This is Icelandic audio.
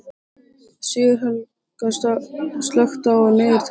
Sigurhelga, slökktu á niðurteljaranum.